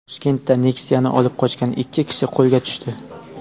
Toshkentda Nexia’ni olib qochgan ikki kishi qo‘lga tushdi.